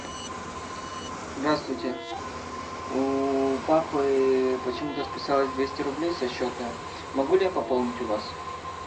здравствуйте у папы почему то списалось двести рублей со счета могу ли я пополнить у вас